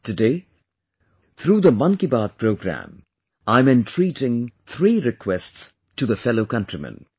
Today, through the 'Mann Ki Baat' programme, I am entreating 3 requests to the fellow countrymen